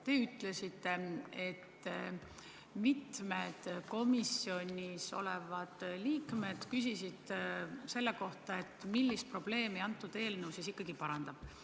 Te ütlesite, et mitmed komisjoni liikmed küsisid selle kohta, millist probleemi see eelnõu ikkagi lahendab.